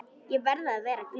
Ég verði að vera glöð.